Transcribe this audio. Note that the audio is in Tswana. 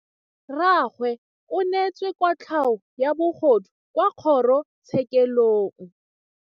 Rragwe o neetswe kotlhaô ya bogodu kwa kgoro tshêkêlông.